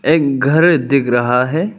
एक घर दिख रहा है।